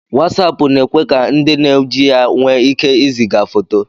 Wasapu na-ekwe ka ndi na-eji ya nwe ike iziga foto